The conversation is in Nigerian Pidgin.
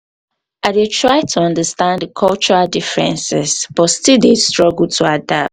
i dey um try to understand um di cultural differences but still dey struggle um to adapt.